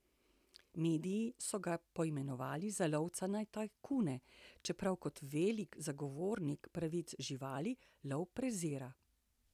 Mediji so ga poimenovali za lovca na tajkune, čeprav kot velik zagovornik pravic živali lov prezira.